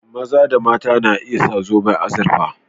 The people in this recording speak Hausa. Maza da mata na iya sa zoban azurfa